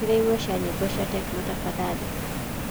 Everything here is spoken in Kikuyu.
ĩkĩra ĩmwe cĩa nyĩmbo cĩa techno tafadhalĩ